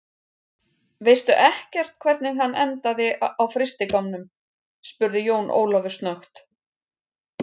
Veistu ekkert hvernig hann endaði á frystigámnum, spurði Jón Ólafur snöggt.